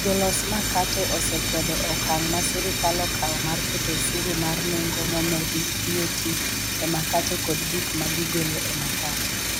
Jolos makate osekwedo okang' ma sirkal okawo mar keto osuru mar nengo momedi (VAT) e makate kod gik ma gigolo e makate.